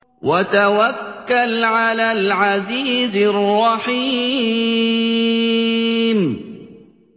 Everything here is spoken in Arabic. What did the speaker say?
وَتَوَكَّلْ عَلَى الْعَزِيزِ الرَّحِيمِ